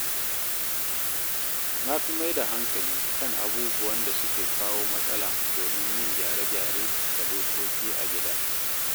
Na fi maida hankali kan abubuwan da suke kawo matsala domin yin gyare-gyare ga dokoki a gida.